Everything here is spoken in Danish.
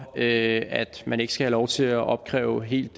at man ikke skal have lov til at opkræve helt